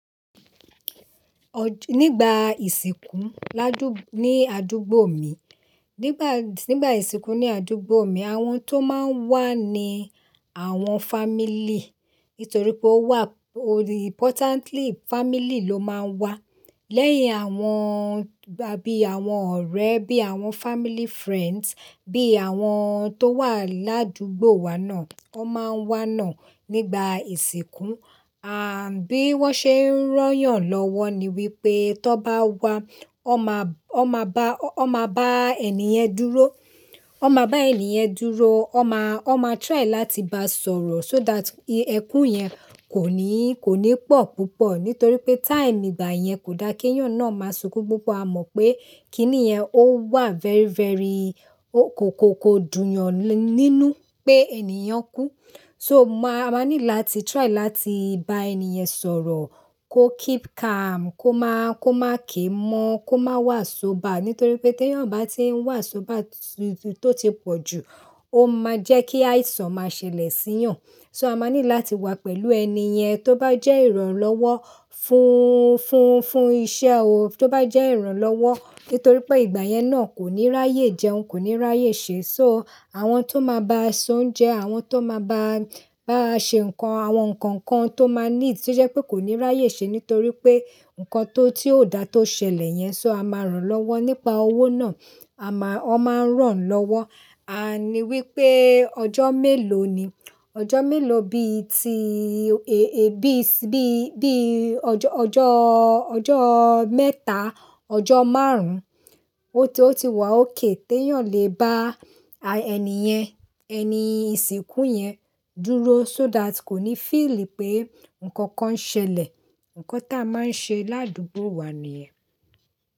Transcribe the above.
Nígbà ìsìnkú ládù ní àdúgbò mi, nígbà, nígbà ìsìnkú ní àdúgbò mi, àwọn tó máa ń wà ni àwọn family, nítorí pé ó wà importantly family ló máa ń wà. Lẹ́yìn àwọn bí àwọn ọ̀rẹ́, bí àwọn family friends, bí àwọn tó wà ládúgbò wa náà, wọ́n máa ń wá náà nígbà ìsìnkú. À bí wọ́n ṣe ń ran yàn lọ́wọ́ ni wípé tó bá wá, ọ́ máa, ọ́ máa bá, ọ́ máa bá ẹni yẹn dúró, ọ́ máa bá ẹni yẹn dúró, ọ́ máa, ọ́ máa try láti bá sọ̀rọ̀ so that ẹkún yẹn kò ní, kò ní pọ̀ púpọ̀. Nítorí pé time ìgbà yẹn kò da kí èèyàn náà máa sunkún púpọ̀. Amọ̀ pé kíni yẹn ó wà very, very ó kó, kó, kó dùn yàn nínú pé ènìyàn kú. So máa, a máa ní láti try láti bá ẹni yẹn sọ̀rọ̀, kó keep calm, kó máa, kó máa ké mọ́, kó máa wà sober, nítorí pé tí èèyàn bá ti ń wà sober tó ti pọ̀ jù, ó máa jẹ́ kí àìsàn máa ṣẹlẹ̀ sí ìyàn. So a máa ní láti wà pẹ̀lú ẹni yẹn tó bá jẹ́ ìrànlọ́wọ́ fún, fún, fún iṣẹ́ o tó bá jẹ́ ìrànlọ́wọ́, nítorí pé ìgbà yẹn náà kò ní ráyè jẹun, kò ní ráyè ṣe. So àwọn tó máa ba s'oúnjẹ, àwọn tó máa ba, báa ṣe nǹkan, àwọn nǹkan kan tó máa need tí ó jẹ́ pé kò ní ráyè ṣe nítorí pé nǹkan tó, tí ó dà tó ṣẹlẹ̀ yẹn. So a máà rán lọwọ, so nípa owó náà a máa, ọ máa ń ràn lọ́wọ́. À ni wípé ọjọ́ mélòó ni, ọjọ́ mélòó bí i tí èè bí i, bí i, bí i ọjọ́, ọjọ́, ọjọ́ mẹ́ta, ọjọ́ márùn-ún tó ti wà okay tí èèyàn lè bá ẹni yẹn, ẹni ìsìnkú yẹn dúró so that kò ní feeli pé nǹkan kan ṣẹlẹ̀. Nkan tí a máa ń ṣe ládúgbò wa nìyẹn.